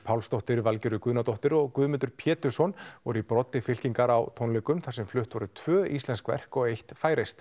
Pálsdóttir Valgerður Guðnadóttir og Guðmundur Pétursson voru í broddi fylkingar á tónleikunum þar sem flutt voru tvö íslensk verk og eitt færeyskt